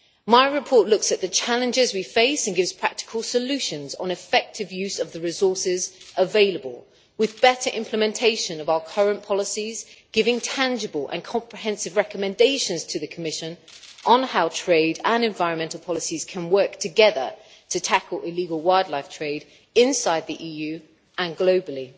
My report looks at the challenges we face and gives practical solutions on effective use of the resources available, with better implementation of our current policies giving tangible and comprehensive recommendations to the Commission on how trade and environmental policies can work together to tackle illegal wildlife trade inside the EU and globally.